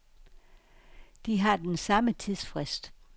De har den samme tidsfrist.